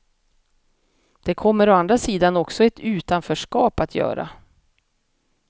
Det kommer å andra sidan också ett utanförskap att göra.